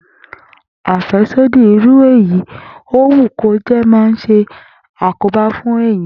Àfé̩sódì irú èyí ó wù kó jé̩ máa ń s̩e àkóbá fún èèyàn